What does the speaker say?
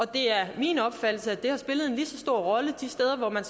det er min opfattelse at det har spillet en lige så stor rolle de steder hvor man